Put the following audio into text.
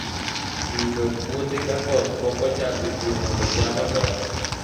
Pidho puothe ka koth pok ochako chue mondo cham odongi